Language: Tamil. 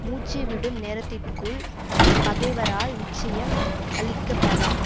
மூச்சு விடும் நேரத்திற்குள் பகைவரால் நிச்சயம் அழிக்கப்பவர்